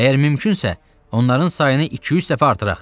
Əgər mümkünsə, onların sayını iki-üç dəfə artıraq.